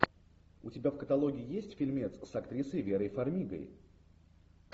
у тебя в каталоге есть фильмец с актрисой верой фармигой